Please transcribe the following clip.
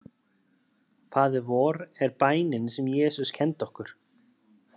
Faðir vor er bænin sem Jesús kenndi okkur.